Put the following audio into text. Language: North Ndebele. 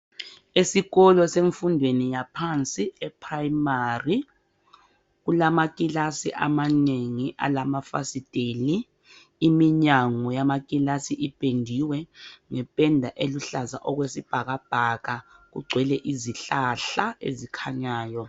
Esikolo semfundweni yaphansi e primary, kulamakilasi amanengi alamafasiteni. Iminyango yamakilasi ipendiwe ngependa eluhlaza okwesibhakabhaka, kugcwele izihlahla ezikhanyayo.